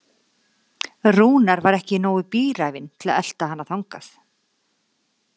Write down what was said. Rúnar var ekki nógu bíræfinn til að elta hana þangað.